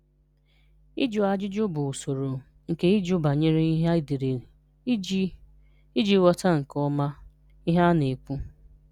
Ị́jụ̀ ajụ́jụ̀ bụ̀ ụ̀sọ̀rò nké ị́jụ̀ banyerè ihè e déré iji iji ghọ̀tà̀ nké ọmà ihè a na-ekwù.”